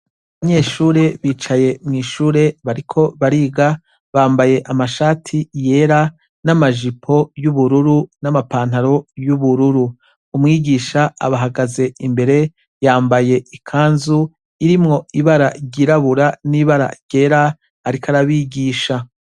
Abanyeshure bicaye mwishure bariko bariga bambaye amashati amashati yera namajipo yubururu namapantalon yubururu umwigisha abahagaze imbere yambaye ikanzu irimwo ibara ryirabura nibara ryera ariko arabigisha